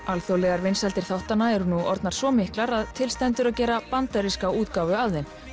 alþjóðlegar vinsældir þáttanna eru nú orðnar svo miklar að til stendur að gera bandaríska útgáfu af þeim